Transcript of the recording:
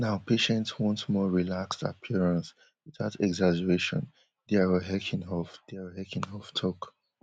now patients want more relaxed appearance witout exaggeration diar heisinhoff diar heisinhoff tok